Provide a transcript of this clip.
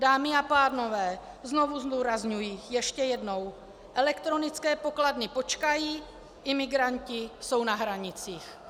Dámy a pánové, znovu zdůrazňuji ještě jednou: elektronické pokladny počkají, imigranti jsou na hranicích.